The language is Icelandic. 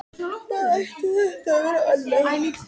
Hvað ætti þetta að vera annað?